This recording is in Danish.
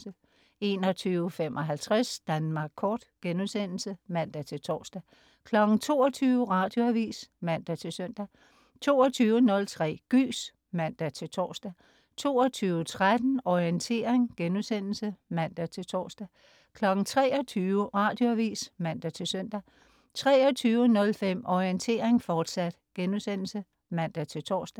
21.55 Danmark Kort* (man-tors) 22.00 Radioavis (man-søn) 22.03 Gys (man-tors) 22.13 Orientering* (man-tors) 23.00 Radioavis (man-søn) 23.05 Orientering, fortsat* (man-tors)